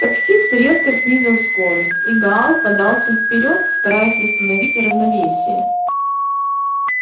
таксист резко снизил скорость и гаал подался вперёд стараясь восстановить равновесие